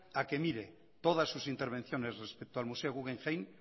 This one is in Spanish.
a que mire todas sus intervenciones respecto al museo guggenheim